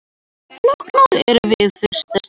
Flóknara en við fyrstu sýn